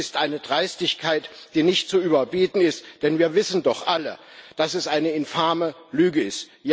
Das ist eine Dreistigkeit, die nicht zu überbieten ist, denn wir wissen doch alle, dass das eine infame Lüge ist.